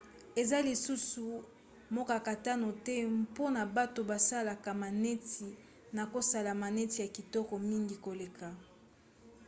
eza lisusu mokakatano te mpona bato basalaka maneti na kosala maneti ya kitoko mingi koleka